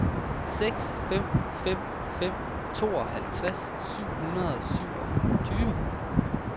seks fem fem fem tooghalvtreds syv hundrede og syvogtyve